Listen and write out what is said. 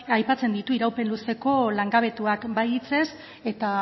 aipatzen ditu iraupen luzeko langabetuak bai hitzez eta